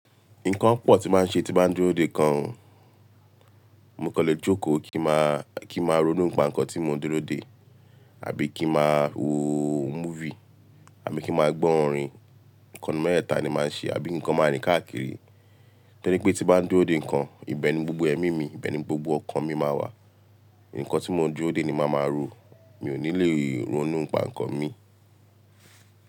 Nǹkan pọ̀ tí n màá n ṣe tí n bá ń dúró dè nkan o. Mo kan le jókòó kí n màá, kí n màá ronú npà nkan tí mo ń dúró dè àbí kí n màá wo movie àbí kí màá gbọ́ orin. Ǹkan nínú meteẹ́ta ni màá ṣe àbí ki n kan máa rín káàkiri. Tọ́ri pé tí n bá ń dúró dè nǹkan, ìbẹni gbogbo ẹmí mi, ìbẹni gbogbo ọkàn mi máa wà. Ǹkan tí mo ń dúró dè ni màá máa rò. Mi ò ní le ronú nipà nkan mii.